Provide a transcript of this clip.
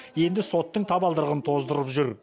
енді соттың табалдырығын тоздырып жүр